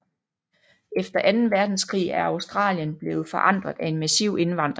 Efter anden verdenskrig er Australien blevet forandret af en massiv indvandring